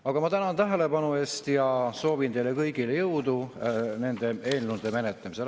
Aga ma tänan tähelepanu eest ja soovin teile kõigile jõudu nende eelnõude menetlemisel.